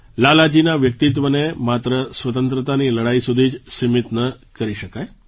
લાલાજીના વ્યક્તિત્વને માત્ર સ્વતંત્રતાની લડાઈ સુધી જ સીમિત ન કરી શકાય